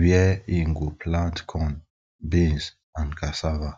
where im go plant corn beans and cassava